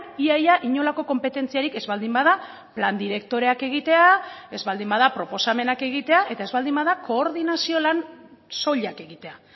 ia ia inolako konpetentziarik ez baldin bada plan direktoreak egitea ez baldin bada proposamenak egitea eta ez baldin bada koordinazio lan soilak egitea